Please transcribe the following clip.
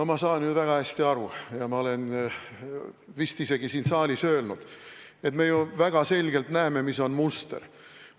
Ma saan ju väga hästi aru ja ma olen vist isegi siin saalis öelnud, et me väga selgelt näeme, mis on muster.